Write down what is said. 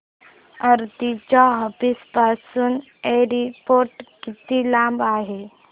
आरती च्या ऑफिस पासून एअरपोर्ट किती लांब आहे